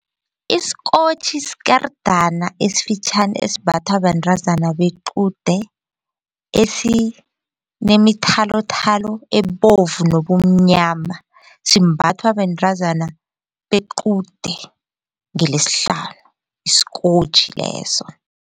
Isikotjhi sikerdana esifitjhani esimbathwa bentazana bequde esinemithalothalo ebovu nobumnyama simbathwa bentazana bequde ngeleSihlanu isikotjhi leso.